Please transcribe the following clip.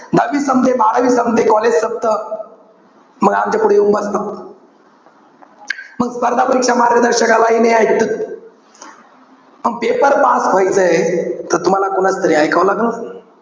दहावी संपते, बारावी संपते. college संपतं. मग आमच्यापुढे येऊन बसतात. मग स्पर्धा परीक्षा मार्गदर्शकालाहि ऐकत. मग paper pass व्ह्याचंय. त तुम्हाला कोणाचं तरी ऐकावं लागल.